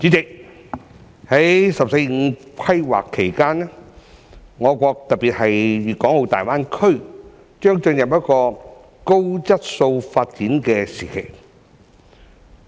代理主席，在"十四五"規劃期間，我國特別是粵港澳大灣區，將進入高質素發展的時期。